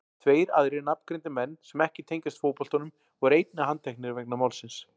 Tveir aðrir nafngreindir menn sem ekki tengjast fótboltanum voru einnig handteknir vegna málsins.